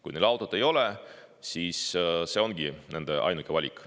Kui neil autot ei ole, siis see ongi nende ainuke valik.